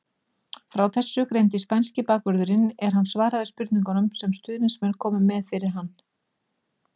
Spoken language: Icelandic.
Frá þessu greindi spænski bakvörðurinn er hann svaraði spurningum sem stuðningsmenn komu með fyrir hann.